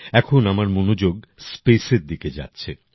এখন আমার মনযোগ স্পেসের দিকে যাচ্ছে